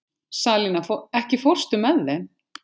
Salína, ekki fórstu með þeim?